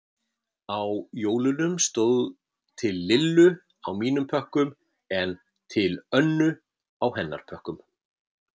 Á jólunum stóð Til Lillu á mínum pökkum en Til Önnu á hennar pökkum.